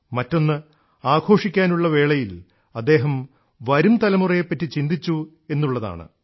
മറ്റൊന്ന് ആഘോഷിക്കാനുള്ള വേളയിൽ അദ്ദേഹം വരുംതലമുറയെപറ്റി ചിന്തിച്ചു എന്നുള്ളതാണ്